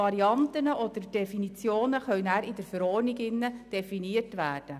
Die Varianten oder Definitionen können anschliessend in der Verordnung definiert werden.